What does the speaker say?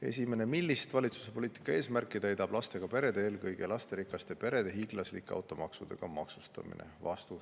Esimene küsimus: "Millist valitsuse poliitika eesmärki täidab lastega perede, eelkõige lasterikaste perede hiiglaslike automaksudega maksustamine?